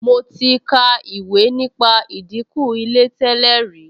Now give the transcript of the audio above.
Mo ti ka ìwé nípa ìdìnkù Ilé tẹ́lẹ̀ rí